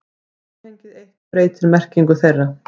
Samhengið eitt breytir merkingu þeirra.